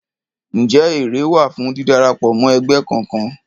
Ǹjẹ́ èrè wà fún dídarapọ̀ mọ́ ẹgbẹ́ kọkan?